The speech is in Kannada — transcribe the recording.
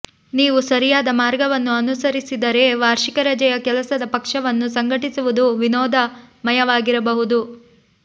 ನೀವು ಸರಿಯಾದ ಮಾರ್ಗವನ್ನು ಅನುಸರಿಸಿದರೆ ವಾರ್ಷಿಕ ರಜೆಯ ಕೆಲಸದ ಪಕ್ಷವನ್ನು ಸಂಘಟಿಸುವುದು ವಿನೋದಮಯವಾಗಿರಬಹುದು